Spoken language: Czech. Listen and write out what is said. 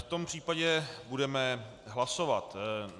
V tom případě budeme hlasovat.